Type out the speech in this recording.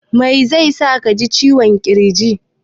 Mai zai sa ka ji ciwon ƙirji?